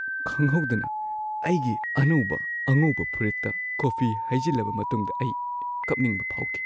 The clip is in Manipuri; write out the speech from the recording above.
ꯈꯪꯍꯧꯗꯅ ꯑꯩꯒꯤ ꯑꯅꯧꯕ ꯑꯉꯧꯕ ꯐꯨꯔꯤꯠꯇ ꯀꯣꯐꯤ ꯍꯩꯖꯤꯜꯂꯕ ꯃꯇꯨꯡꯗ ꯑꯩ ꯀꯞꯅꯤꯡꯕ ꯐꯥꯎꯈꯤ ꯫